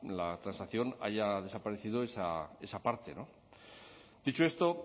la transacción haya desaparecido esa parte dicho esto